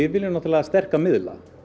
viljum náttúrulega sterka miðla